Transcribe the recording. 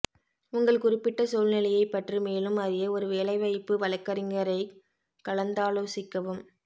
உங்கள் குறிப்பிட்ட சூழ்நிலையைப் பற்றி மேலும் அறிய ஒரு வேலைவாய்ப்பு வழக்கறிஞரைக் கலந்தாலோசிக்கவும்